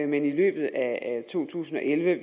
men i løbet af to tusind og elleve vel